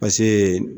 Paseke